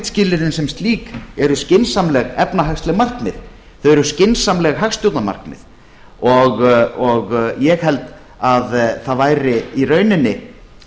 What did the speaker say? skilyrðin sem slík eru skynsamleg efnahagsleg markmið þau eru skynsamleg hagstjórnarmarkmið og ég held að það væri í rauninni